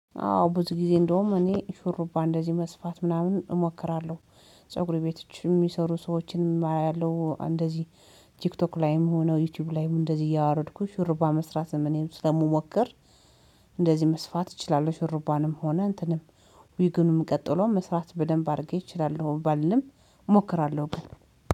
አዎ ብዙ ጊዜ እንደውም እኔ ሹሩባ እንደዚህ መስፋት ምናምን እሞክራለሁ። ፀጉር ቤቶች የሚሰሩ ሰዎችን አያለሁ እንደዚህ ቲክቶክ ላይም ሆነው ዩቲዩብ ላይም እንደዚህ እያወረድኩ ሽሩባ መስራት እኔም ስለምሞከር። እንደዚህ መስፋት እችላለህ ሽሩባንም ሆነ እንትንም። ዊጉንም ቀጥሎ መስራት በደንብ አድርጌ እችላለሁ ባልልም እሞክራለሁ። በቃ